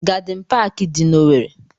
Gadịn paakị dị n'Owerre.